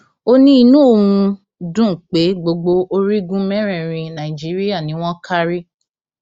ó ní inú òun dùn pé gbogbo orígun mẹrẹẹrin nàìjíríà ni wọn kárí